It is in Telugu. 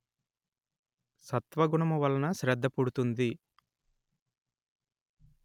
సత్వగుణము వలన శ్రద్ధ పుడుతుంది